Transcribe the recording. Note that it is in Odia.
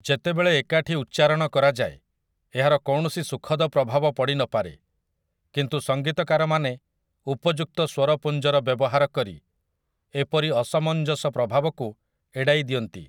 ଯେତେବେଳେ ଏକାଠି ଉଚ୍ଚାରଣ କରାଯାଏ, ଏହାର କୌଣସି ସୁଖଦ ପ୍ରଭାବ ପଡ଼ିନପାରେ, କିନ୍ତୁ ସଙ୍ଗୀତକାରମାନେ ଉପଯୁକ୍ତ ସ୍ୱରପୁଞ୍ଜର ବ୍ୟବହାର କରି ଏପରି ଅସମଞ୍ଜସ ପ୍ରଭାବକୁ ଏଡ଼ାଇ ଦିଅନ୍ତି ।